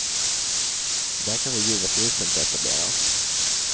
Där kan vi givetvis inte etablera oss.